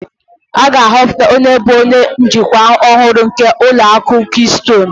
A ga-ahọpụta onye bụ onye njikwa ọhụrụ nke ụlọ akụ kistonu